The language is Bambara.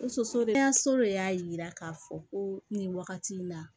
Muso soden kɛnɛyaso de y'a yira k'a fɔ ko nin wagati in na